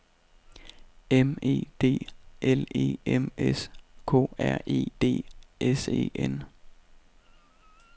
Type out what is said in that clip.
M E D L E M S K R E D S E N